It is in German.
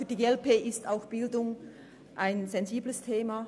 Für die glp ist die Bildung ebenfalls ein sensibles Thema.